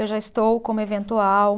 Eu já estou como eventual.